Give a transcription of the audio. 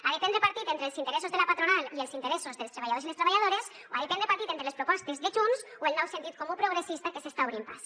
ha de prendre partit entre els interessos de la patronal i els interessos dels treballadors i les treballadores o ha de prendre partit entre les propostes de junts o el nou sentit comú progressista que s’està obrint pas